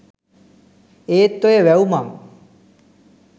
ඒත් ඔය වැව් මං